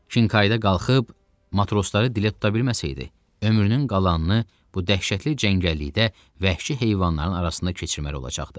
Kin qayda qalxıb matrosları dilə tuta bilməsəydi, ömrünün qalanını bu dəhşətli cəngəllikdə vəhşi heyvanların arasında keçirməli olacaqdı.